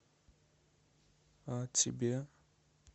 а тебе